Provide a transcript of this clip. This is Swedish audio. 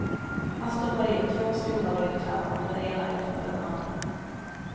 Han stoppade in två stora vedklabbar, den ena efter den andra.